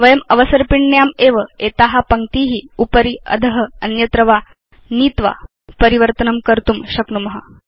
वयम् अवसर्पिण्याम् एव एता पङ्क्ती उपरि अध अन्यत्र वा नीत्वा परिवर्तनं कर्तुं शक्नुम